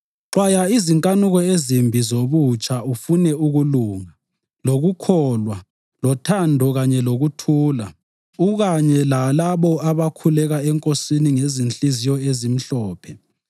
Xwaya izinkanuko ezimbi zobutsha ufune ukulunga, lokukholwa, lothando kanye lokuthula, ukanye lalabo abakhuleka eNkosini ngezinhliziyo ezimhlophe.